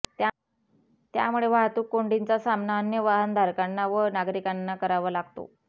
त्यामुळे वाहतूक कोंडीचा सामना अन्य वाहनधारकांना व नागरिकांना करावा लागतो